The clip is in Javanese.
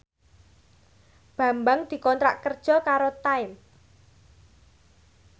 Bambang dikontrak kerja karo Time